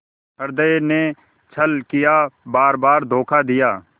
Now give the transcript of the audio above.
हृदय ने छल किया बारबार धोखा दिया